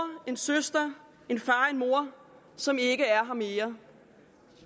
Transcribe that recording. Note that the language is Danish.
en søster en far en mor som ikke er her mere